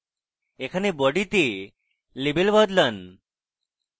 এখানে body তে label বদলান